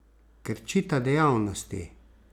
Krčita dejavnosti.